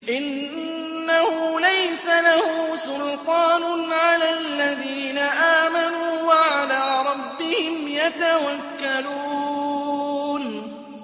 إِنَّهُ لَيْسَ لَهُ سُلْطَانٌ عَلَى الَّذِينَ آمَنُوا وَعَلَىٰ رَبِّهِمْ يَتَوَكَّلُونَ